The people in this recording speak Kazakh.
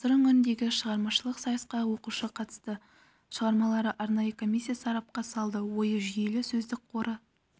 ал сыр өңіріндегі шығармашылық сайысқа оқушы қатысты шығармаларды арнайы комиссия сарапқа салды ойы жүйелі сөздік қоры